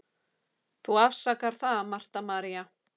Þú afsakar það, Marta María.